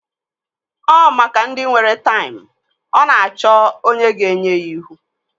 Ọ maka ndị nwere taim. Ọ na-achọ onye ga-enye ya ihu